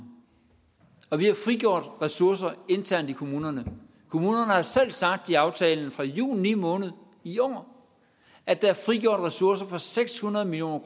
og vi har frigjort ressourcer internt i kommunerne kommunerne har selv sagt i aftalen fra juni måned i år at der er frigjort ressourcer for seks hundrede million